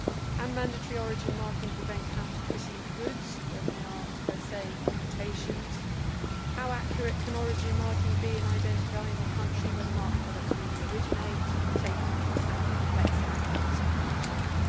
Can mandatory origin marking prevent counterfeiting of goods when they are per se imitations? How accurate can origin marking be in identifying the country where the marked products really originate, taking account of the complexity of modern supply chains?